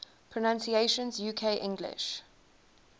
pronunciations uk english